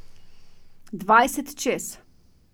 Dvajset čez.